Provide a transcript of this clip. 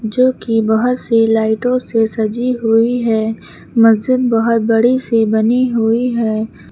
जो कि बहोत सी लाइटों से सजी हुई है मस्जिद बहोत बड़ी सी बनी हुई है।